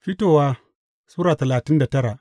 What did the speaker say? Fitowa Sura talatin da tara